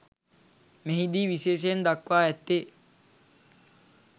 මෙහි දී විශේෂයෙන් දක්වා ඇත්තේ